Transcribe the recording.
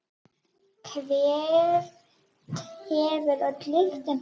Hvert hefur öll lyktin horfið?